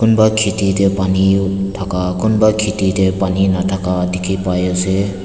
kumba kheti de pani thaka kumba kheti de pani nathaka dikhi pai ase.